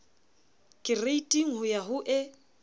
kereiting ho ya ho e